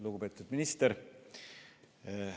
Lugupeetud minister!